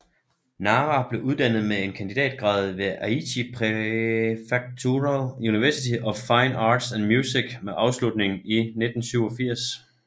Nara blev uddannet med en kandidatgrad ved Aichi Prefectural University of Fine Arts and Music med afslutning i 1987